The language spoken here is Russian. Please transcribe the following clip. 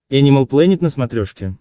энимал плэнет на смотрешке